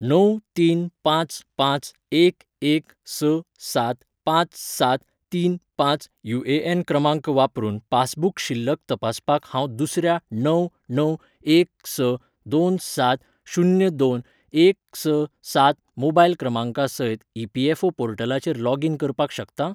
णव तीन पांच पांच एक एक स सात पांच सात तीन पांच युएएन क्रमांक वापरून पासूबक शिल्लक तपासपाक हांव दुसऱ्या णव णव एक स दोन सात शून्य दोन एक स सात मोबायल क्रमांका सयत ईपीएफओ पोर्टलाचेर लॉग इन करपाक शकतां?